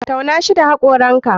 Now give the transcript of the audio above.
Tauna shoi da hakoranka.